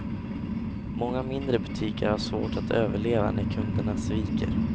Många mindre butiker har svårt att överleva när kunderna sviker.